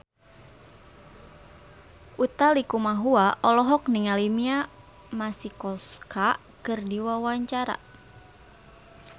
Utha Likumahua olohok ningali Mia Masikowska keur diwawancara